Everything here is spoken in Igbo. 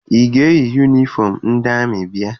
Ị ga-eyi yunifọm ndị amị bịa?